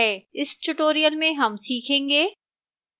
इस tutorial में हम सीखेंगे: